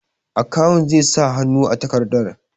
Akawun zai sa hannu a takardar.